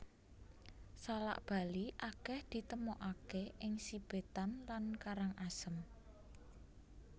Salak Bali akèh ditemokaké ing Sibetan lan Karangasem